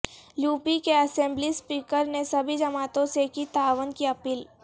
UP کے assembly speaker نے سبھی جماعتوں سے کی تعاون کی اپیل